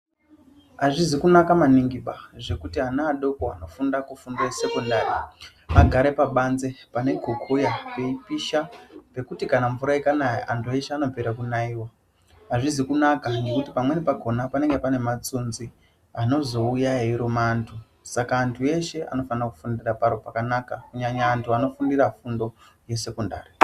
Azvizi kunaka maningiba zvekuti ana adoko akafunda kufundo yesekondari agare pabanze pane kokoya kweipisha kwekuti kana mvura ikanaya anopera kunaiwa azvizi kunaka ngekuti pamweni pakona panenge panematsunzi anozouya eiruma vandu saka andu eshe anofanira kufundira paro pakanasonaka kunyanya andu anofundira fundo yesekondari.